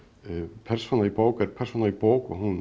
persóna í bók er persóna í bók og hún